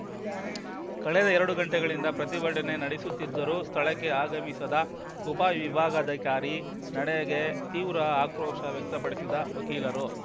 ಕಳೆದ ಎರಡು ಗಂಟೆಗಳಿಂದ ಪ್ರತಿಭಟನೆ ನಡೆಯುತ್ತಿದ್ದರೂ ಸ್ಥಳಕ್ಕೆ ಆಗಮಿಸದ ಉಪವಿಭಾಗಾಧಿಕಾರಿ ನಡೆಗೆ ತೀವ್ರ ಆಕ್ರೋಶ ವ್ಯಕ್ತಪಡಿಸಿದ ವಕೀಲರು